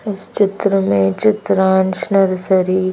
इस चित्र में चित्रांश नरसरी --